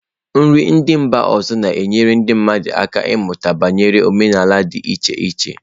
Nri ndị mba ọzọ na-enyere ndị mmadụ aka ịmụta banyere omenala dị iche iche.